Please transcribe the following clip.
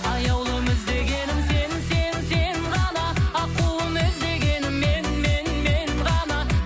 аяулым іздегенім сен сен сен ғана аққуым іздегенің мен мен мен ғана